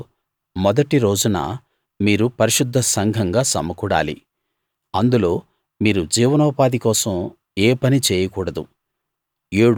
వాటిలో మొదటి రోజున మీరు పరిశుద్ధసంఘంగా సమకూడాలి అందులో మీరు జీవనోపాధి కోసం ఏ పనీ చేయకూడదు